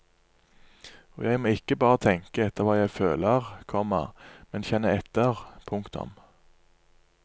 Og jeg må ikke bare tenke etter hva jeg føler, komma men kjenne etter. punktum